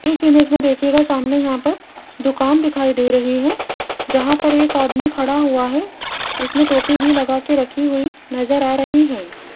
इस इमेज में देखिएगा सामने यहां पर दुकान दिखाई दे रही है जहां पर एक आदमी खड़ा हुआ है उसने टोपी भी लगा के रखी हुई नजर आ रही हैं।